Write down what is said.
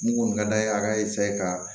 Mun kɔni ka d'a ye a ka ka